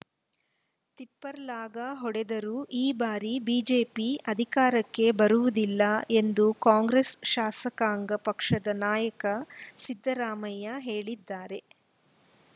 ತಿಪ್ಪರಲಾಗ ಹೊಡೆದರೂ ಈ ಬಾರಿ ಬಿಜೆಪಿ ಅಧಿಕಾರಕ್ಕೆ ಬರುವುದಿಲ್ಲ ಎಂದು ಕಾಂಗ್ರೆಸ್‌ ಶಾಸಕಾಂಗ ಪಕ್ಷದ ನಾಯಕ ಸಿದ್ದರಾಮಯ್ಯ ಹೇಳಿದ್ದಾರೆ